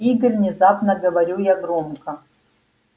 игорь внезапно говорю я громко